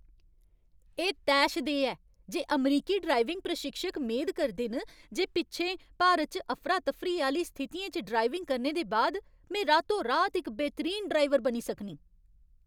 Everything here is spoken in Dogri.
एह् तैशदेह् ऐ जे अमरीकी ड्राइविंग प्रशिक्षक मेद करदे न जे पिच्छें भारत च अफरा तफरी आह्‌ली स्थितियें च ड्राइविंग करने दे बाद में रातो रात इक बेहतरीन ड्राइवर बनी सकनीं।